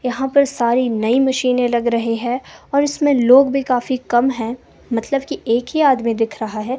यहां पर सारी नई मशीने लग रहे हैं और इसमें लोग भी काफी कम है मतलब की एक ही आदमी दिख रहा है।